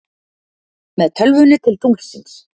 Með tölvunni til tunglsins